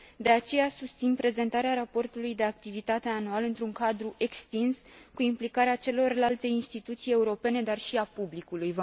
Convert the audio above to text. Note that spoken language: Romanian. De aceea, susțin prezentarea raportului de activitate anual într un cadru extins, cu implicarea celorlalte instituții europene, dar și a publicului.